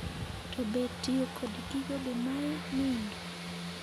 To be tiyo kod gigo be mayi ndndo?